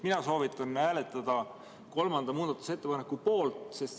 Mina soovitan hääletada kolmanda muudatusettepaneku poolt.